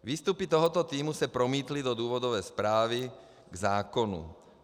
Výstupy tohoto týmu se promítly do důvodové zprávy k zákonu.